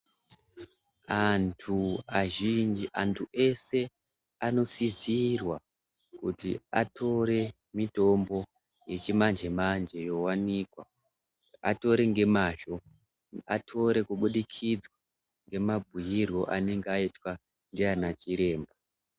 Antu azhinji antu ese anosizirwa kuti atore mitombo yechimanje manje yowanikwa atore ngemazvo atore kubudikidza ngemabhiirwo anonga aitwa ndianachiremba.